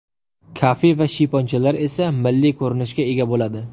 Kafe va shiyponchalar esa milliy ko‘rinishga ega bo‘ladi.